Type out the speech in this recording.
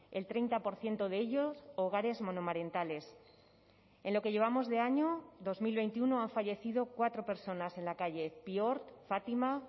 el treinta por ciento de ellos hogares monomarentales en lo que llevamos de año dos mil veintiuno han fallecido cuatro personas en la calle pior fátima